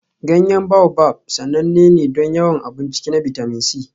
Ganyen Baobab sananne ne don yawan abun ciki na bitamin C.